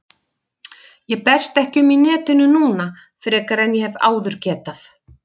Ég berst ekki um í netinu núna frekar en ég hef áður getað.